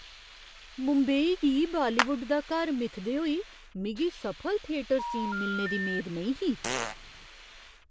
मुंबई गी बालीवुड दा घर मिथदे होई मिगी सफल थिएटर सीन मिलने दी मेद नेईं ही।